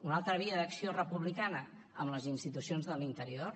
una altra via d’acció republicana amb les institucions de l’interior